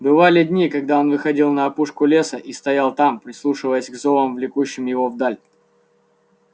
бывали дни когда он выходил на опушку леса и стоял там прислушиваясь к зовам влекущим его вдаль